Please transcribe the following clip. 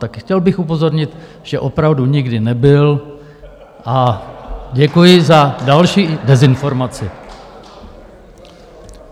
Tak chtěl bych upozornit, že opravdu nikdy nebyl, a děkuji za další dezinformaci.